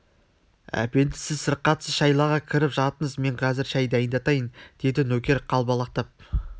әпенді сіз сырқатсыз шайлаға кіріп жатыңыз мен қазір шай дайындатайын деді нөкер қалбалақтап